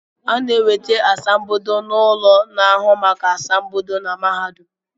A na-enweta asambodo n’ụlọ na-ahụ maka asambodo na mahadum